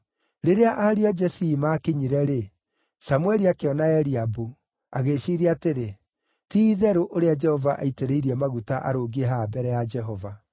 Rĩrĩa ariũ a Jesii maakinyire-rĩ, Samũeli akĩona Eliabu, agĩĩciiria atĩrĩ, “Ti-itherũ, ũrĩa Jehova aitĩrĩirie maguta arũngiĩ haha mbere ya Jehova.”